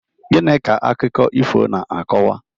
Gịnị ka akụkọ ifo na-akọwa?